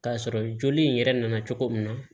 K'a sɔrɔ joli in yɛrɛ nana cogo min na